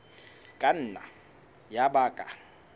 ka nna ya ba ka